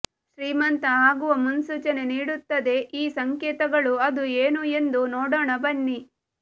ಶ್ರೀಮಂತ ಆಗುವ ಮುನ್ಸೂಚನೆ ನೀಡುತ್ತದೆ ಈ ಸಂಕೇತಗಳು ಅದು ಏನು ಎಂದು ನೋಡೋಣ ಬನ್ನಿ